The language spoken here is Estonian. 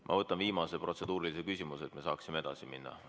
Ma võtan viimase protseduurilise küsimuse, et me saaksime edasi minna.